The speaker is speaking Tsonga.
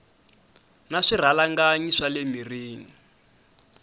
na swirhalanganyi swa le mirini